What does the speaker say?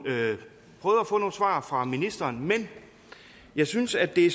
svar fra ministeren men jeg synes at det